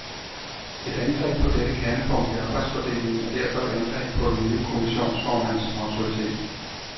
Et angreb på dette kernepunkt i arbejdsfordelingen er derfor et angreb på den nye kommissionsformands autoritet.